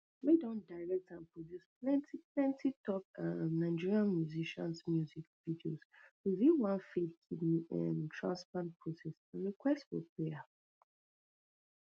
wey don direct and produce plenty plenty top um nigerian musicians music videos reveal one failed kidney um transplant process and request for prayers